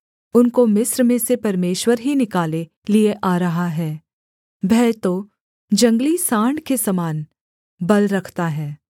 उनको मिस्र में से परमेश्वर ही निकाले लिए आ रहा है वह तो जंगली साँड़ के समान बल रखता है